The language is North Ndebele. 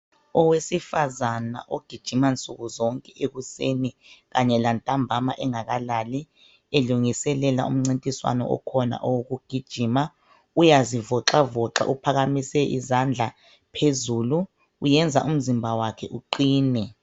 Owesifazana ogijima nsuku zonke ekuseni kanye lantambama engakalali elungiselela umncintiswano okhona owokugijima uyazivoxavoxa uphakamise izandla zakhe phezulu uyenza umzimba wakhe uqine